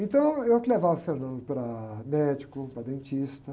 Então, eu que levava o para médico, para dentista.